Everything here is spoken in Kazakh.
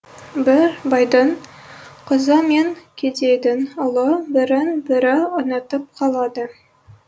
бір байдың қызы мен кедейдің ұлы бірін бірі ұнатып қалады